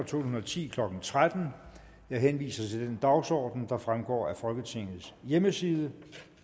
tusind og ti klokken tretten jeg henviser til den dagsorden der fremgår af folketingets hjemmeside